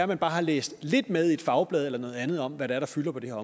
man bare har læst lidt med i et fagblad eller noget andet om hvad det er der fylder på det her